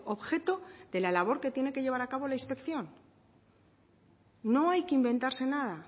objeto de la labor que tiene que llevar acabo la inspección no hay que inventarse nada